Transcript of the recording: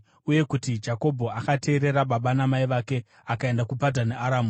uye kuti Jakobho akateerera baba namai vake akaenda kuPadhani Aramu.